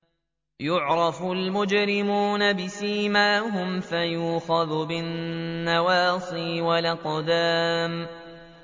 يُعْرَفُ الْمُجْرِمُونَ بِسِيمَاهُمْ فَيُؤْخَذُ بِالنَّوَاصِي وَالْأَقْدَامِ